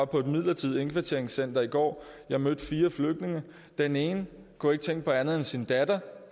på et midlertidigt indkvarteringscenter i går jeg mødte fire flygtninge den ene kunne ikke tænke på andet end sin datter